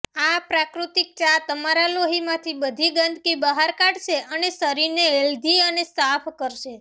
આ પ્રાકૃતિક ચા તમારા લોહીમાંથી બધી ગંદકી બહાર કાઢશે અને શરીરને હેલ્ધી અને સાફ કરશે